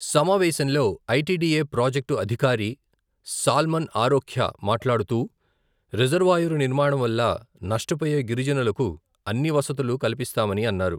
సమావేశంలో, ITDA. Project అధికారి, సాల్మన్ ఆరోఖ్య మాట్లాడుతూ, రిజర్వాయరు నిర్మాణంవల్ల, నష్టపోయే గిరిజనులకు, అన్నివసతులు కల్పిస్తామని అన్నారు.